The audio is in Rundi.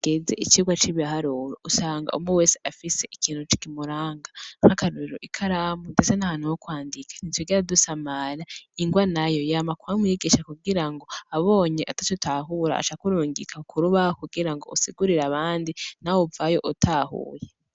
Geze icirwa c'ibiharuro usanga umwe wese afise ikintu cikimuranga nk'akaruriro ikaramu, ndetse nahantu wo kwandikanitogera dusamara ingwa nayo yamakubamu yigisha kugira ngo abonye atato utahura acakurungika kuruba kugira ngo usigurira abandi na we uvayo utahuye.